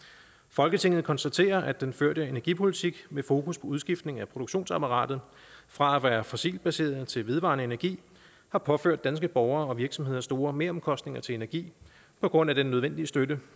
folketinget konstaterer at den førte energipolitik med fokus på udskiftning af produktionsapparatet fra at være fossilt baseret til vedvarende energi har påført danske borgere og virksomheder store meromkostninger til energi på grund af den nødvendige støtte